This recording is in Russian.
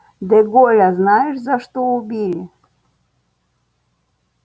де голля знаешь за что убили